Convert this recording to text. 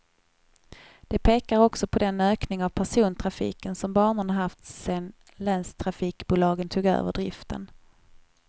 De pekar också på den ökning av persontrafiken som banorna haft sedan länstrafikbolagen tog över driften.